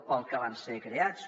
per al que van ser creats